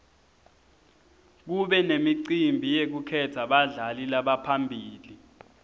kube nemicimbi yekukhetsa badlali labaphambili